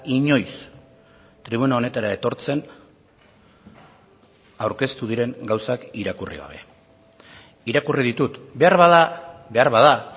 inoiz tribuna honetara etortzen aurkeztu diren gauzak irakurri gabe irakurri ditut beharbada beharbada